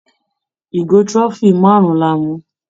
Ìgò trophy márùn-ún la mu.